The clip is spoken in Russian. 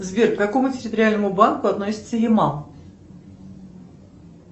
сбер к какому территориальному банку относится ямал